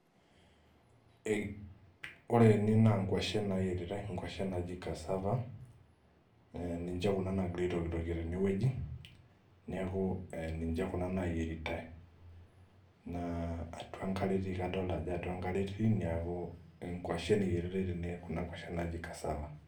Wore ene naa ingwashen naayieritae, inkuashen naaji cassava, ninche kuna naakirae aitokitokie tenewoji. Neeku ninche kuna naayieritae. Naa atua enkare etii, adolta ajo atua enkare etii neeku ingwashen eyieritae tene kuna kwashen naaji cassava.